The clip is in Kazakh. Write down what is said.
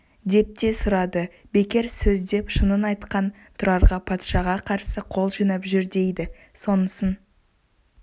деп те сұрады бекер сөз деп шынын айтқан тұрарға патшаға қарсы қол жинап жүр дейді сонысын